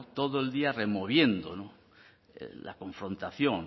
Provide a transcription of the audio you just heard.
todo el día removiendo la confrontación